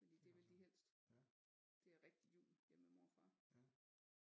Fordi det vil de helst det er rigtig jul hjemme ved mor og far